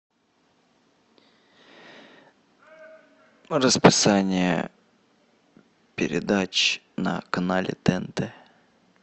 расписание передач на канале тнт